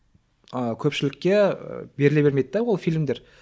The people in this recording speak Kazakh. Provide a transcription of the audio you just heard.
ыыы көпшілікке беріле бермейді де ол фильмдер